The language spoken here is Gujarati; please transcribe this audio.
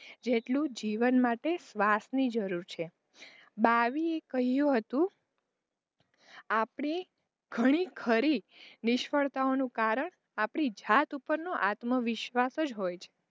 જેટલું જીવન માટે શ્વાસ ની જરૂર છે બાવીએ કહ્યું હતું આપણી ઘણી ખરી નિષ્ફળતાઑનું કારણ આપણી જાત ઉપર નો આત્મવિશ્વાસ જ હોય છે.